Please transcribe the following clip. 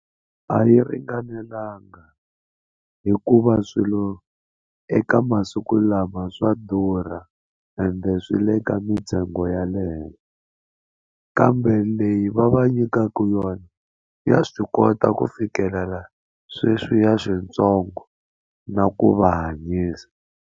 A yi ringanelanga hikuva swilo eka masiku lama swa durha ende swi le ka mintsengo ya le henhla kambe leyi va va nyikaka yona ya swi kota ku fikelela sweswiya swintsongo na ku va hanyisa.